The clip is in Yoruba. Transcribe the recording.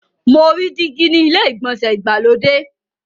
Mo rí dígí ni ilé ìgbọ̀nsẹ̀ ìgbàlódé.